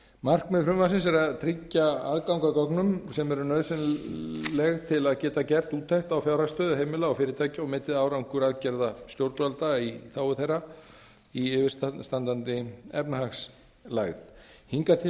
markmið frumvarpsins er að tryggja aðgang að gögnum sem eru nauðsynleg til að geta gert úttekt á fjárhagsstöðu heimila og fyrirtækja og metið árangur aðgerða stjórnvalda í þágu þeirra í yfirstandandi efnahagslægð hingað til